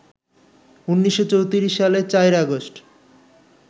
১৯৩৪ সালের ৪ আগস্ট